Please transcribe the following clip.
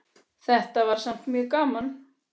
Þetta var samt mjög gaman.